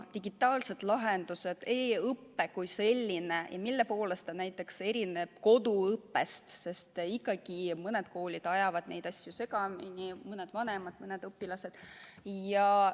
Digitaalsed lahendused, e-õpe kui selline, mille poolest see erineb koduõppest – ikkagi mõned koolid, mõned vanemad, mõned õpilased ajavad neid asju segamini.